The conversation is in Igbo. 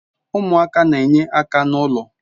Umuaka na-enye aka na ulo